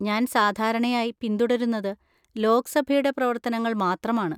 ഞാൻ സാധാരണയായി പിന്തുടരുന്നത് ലോക്‌സഭയുടെ പ്രവർത്തനങ്ങൾ മാത്രമാണ്.